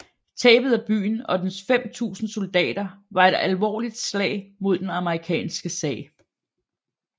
Tabet af byen og dens 5000 soldater var et alvorligt slag mod den amerikanske sag